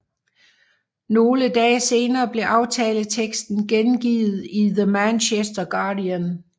Nogle dage senere blev aftaleteksten gengivet i The Manchester Guardian